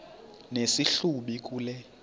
nesi hlubi kule